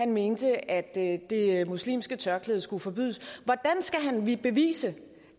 mente at at det muslimske tørklæde skulle forbydes hvordan skal vi bevise